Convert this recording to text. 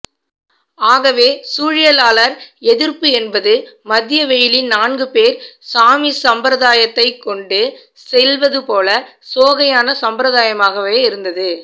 ஆகவே சூழியலாளர் எதிர்ப்பு என்பது மதியவெயிலில் நான்குபேர் சாமி சப்பரத்தைக் கொண்டுசெல்வதுபோல சோகையான சம்பிரதாயமாகவே இருந்தது